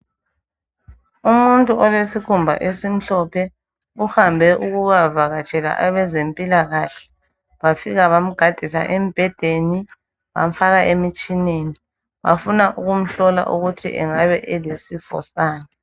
Umuntu olesikhumba esimhlophe, uhambe ukuyavakatshela abezempilakahle, bafika bamgadisa embhedeni, bamfaka emitshineni bafuna ukumhlola ukuthi angabe elesifo sani.